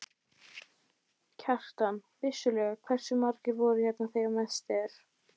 Kjartan: Vissulega, hversu margir voru hérna þegar mest er?